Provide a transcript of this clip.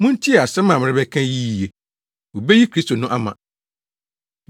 “Muntie asɛm a merebɛka yi yiye. Wobeyi Kristo no ama.”